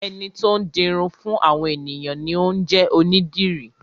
Ẹni tó ń di irun fún àwọn ènìyàn ni ó ń jẹ́ onídìrí.